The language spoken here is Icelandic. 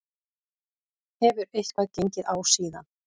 Hefur eitthvað gengið á síðan?